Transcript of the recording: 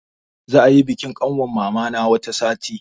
Za ayi bikin ƙanwar mama na wata sati.